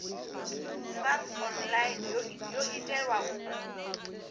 sars online yo itelwa u